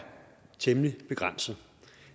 temmelig begrænset